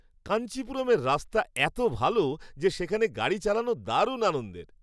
কাঞ্চিপুরমের রাস্তা এত ভাল যে সেখানে গাড়ি চালানো দারুণ আনন্দের!